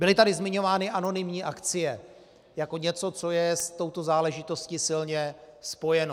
Byly tady zmiňovány anonymní akcie jako něco, co je s touto záležitostí silně spojeno.